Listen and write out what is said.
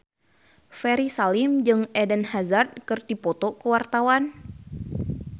Ferry Salim jeung Eden Hazard keur dipoto ku wartawan